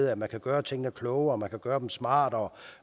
at man kan gøre tingene klogere at man kan gøre dem smartere